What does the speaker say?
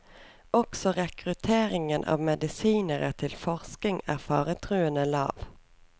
Også rekrutteringen av medisinere til forskning er faretruende lav.